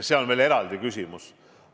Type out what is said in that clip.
See on veel eraldi küsimus.